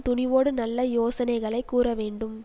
துணிவோடு நல்ல யோசனைகளைக் கூற வேண்டும்